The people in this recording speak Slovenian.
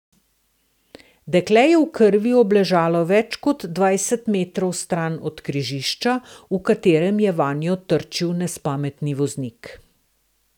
Dekle je v krvi obležalo več kot dvajset metrov stran od križišča, v katerem je vanjo trčil nespametni voznik.